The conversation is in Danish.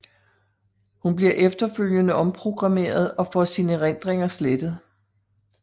Hun bliver efterfølgende omprogrammeret og får sine erindringer slettet